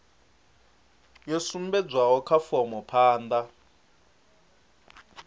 yo sumbedzwaho kha fomo phanda